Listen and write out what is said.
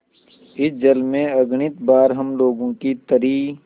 इस जल में अगणित बार हम लोगों की तरी